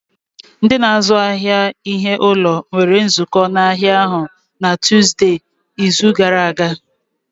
Ndị na-azụ ahịa ihe ụlọ nwere nzukọ n'ahịa ahụ na Tuzdee, izu gara aga